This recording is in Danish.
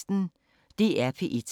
DR P1